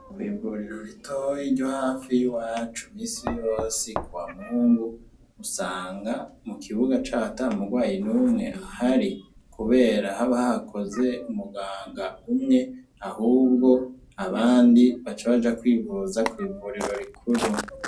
Kwivuriro ritoya ryohafi y'iwacu imisi yose kuwamungu usanga mukibuga caho atamurwayi ahari. Kubera haba hakoze umuganga umwe ahubwo abandi baca baja kwivuza kwivuriro rikuru.